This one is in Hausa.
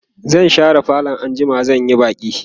zan share falo anjima zan Yi baki